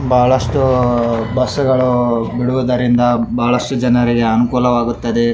ಬಹಳಷ್ಟು ಬಸ್ಸು ಗಳು ಬಿಡುವುದರಿಂದ ಬಹಳಷ್ಟು ಜನರಿಗೆ ಅನುಕೂಲ ಆಗುತ್ತದೆ.